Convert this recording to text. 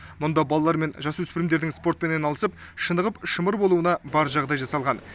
мұнда балалар мен жасөспірімдердің спортпен айналысып шынығып шымыр болуына бар жағдай жасалған